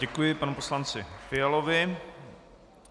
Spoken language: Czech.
Děkuji panu poslanci Fialovi.